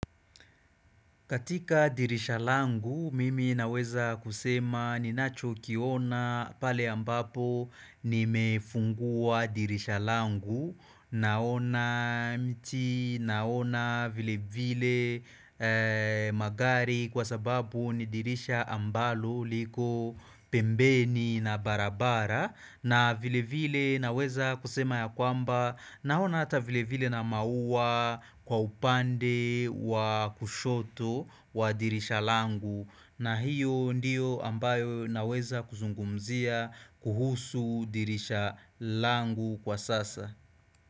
Katika dirisha langu, mimi naweza kusema ninachokiona pale ambapo nimefungua dirisha langu, naona miti, naona vile vile magari kwa sababu ni dirisha ambalo liko pembeni na barabara na vile vile naweza kusema ya kwamba naona hata vile vile na mauwa kwa upande wa kushoto wa dirisha langu na hiyo ndiyo ambayo naweza kuzungumzia kuhusu dirisha langu kwa sasa.